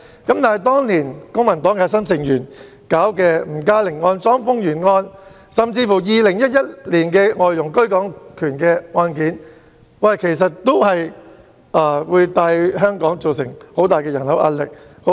但當年公民黨核心成員處理的吳嘉玲案、莊豐源案，甚至2001年的外傭居港權案件，也有機會為香港帶來龐大的人口壓力。